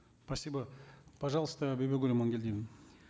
спасибо пожалуйста бибигуль амангельдиевна